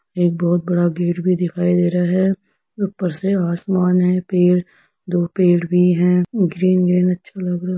एक बहुत बड़ा गेट भी दिखाई दे रहा है ऊपर से आसमान है पेड़ दो पेड़ भी हैं ग्रीन --